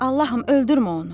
Allahım, öldürmə onu.